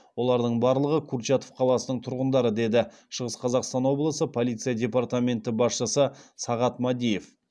олардың барлығы курчатов қаласының тұрғындары деді шығыс қазақстан облысы полиция департаменті басшысы сағат мадиев